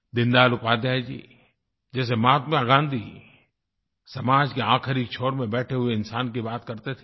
दीनदयाल उपाध्याय जी जैसे महात्मा गाँधी समाज के आखिरी छोर में बैठे हुए इंसान की बात करते थे